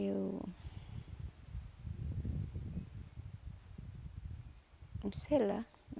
Eu... Sei lá.